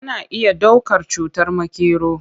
Ana iya ɗaukar cutar makero.